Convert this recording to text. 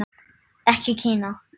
Ekki Kína.